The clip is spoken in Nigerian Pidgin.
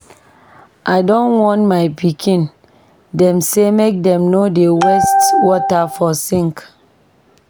I don warn my pikin dem sey make dem no dey waste water for sink.